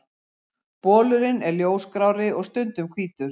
Bolurinn er ljósgrárri og stundum hvítur.